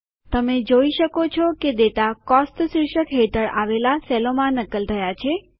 તમે જોઈ શકો છો કે ડેટા કોસ્ટ શીર્ષક હેઠળ અડીને આવેલા કોષોમાં નકલ થયા છે